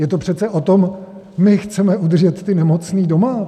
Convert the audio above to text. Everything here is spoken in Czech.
Je to přece o tom: My chceme udržet ty nemocné doma!